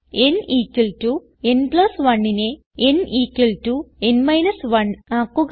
n n 1നെ n n - 1 ആക്കുക